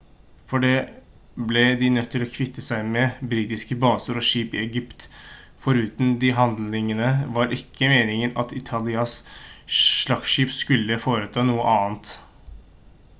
for det ble de nødt til å kvitte seg med britiske baser og skip i egypt foruten de handlingene var det ikke meningen at italias slagskip skulle foreta noe annet